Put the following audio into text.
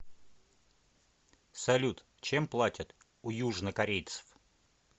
салют чем платят у южнокорейцев